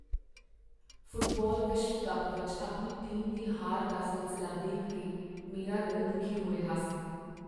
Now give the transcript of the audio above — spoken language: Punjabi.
ਫੁੱਟਬਾਲ ਵਿਸ਼ਵ ਕੱਪ ਵਿੱਚ ਆਪਣੀ ਟੀਮ ਦੀ ਹਾਰ ਦਾ ਸਿਲਸਿਲਾ ਦੇਖ ਕੇ ਮੇਰਾ ਦਿਲ ਦੁਖੀ ਹੋ ਰਿਹਾ ਸੀ।